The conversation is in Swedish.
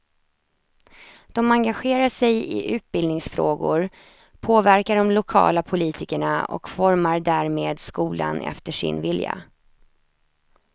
De engagerar sig i utbildningsfrågor, påverkar de lokala politikerna och formar därmed skolan efter sin vilja.